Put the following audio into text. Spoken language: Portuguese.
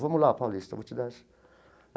Vamos lá, Paulista, vou te dar essa.